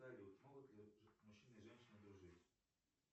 салют могут ли мужчина и женщина дружить